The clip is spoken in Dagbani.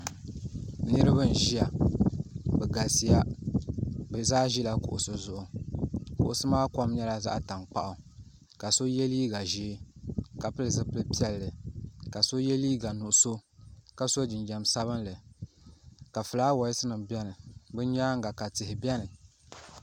Niriba n ʒia bɛ galisiya bɛ zaa ʒila kuɣusi zuɣu kuɣusi maa kom nyɛla zaɣa tankpaɣu ka so ye liiga ʒee ka pili zipil'piɛlli ka so ye liiga nuɣuso ka so jinjiɛm sabinli ka filaawaasi nima biɛni bɛ nyaanga ka tihi biɛni.